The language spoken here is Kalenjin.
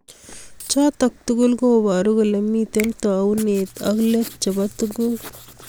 chotok tugul kobaru kole mito taunet ak let chebo tuguk